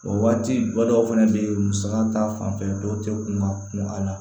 O waati ba dɔw fɛnɛ be yen musaka ta fanfɛ dɔw te kun ka kun a la